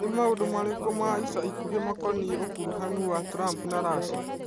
Nĩ maũndũ marĩkũ ma ica ikuhĩ makoniĩ ũkuruhanu wa Trump na Russia?